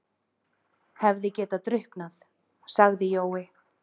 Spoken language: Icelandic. Hefði getað drukknað, sagði Jói.